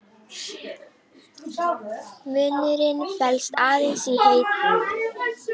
Munurinn felst aðeins í heitinu.